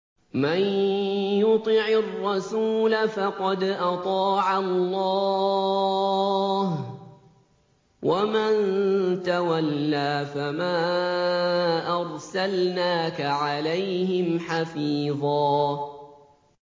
مَّن يُطِعِ الرَّسُولَ فَقَدْ أَطَاعَ اللَّهَ ۖ وَمَن تَوَلَّىٰ فَمَا أَرْسَلْنَاكَ عَلَيْهِمْ حَفِيظًا